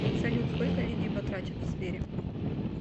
салют сколько людей батрачат в сбере